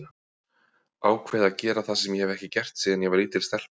Ákveð að gera það sem ég hef ekki gert síðan ég var lítil stelpa.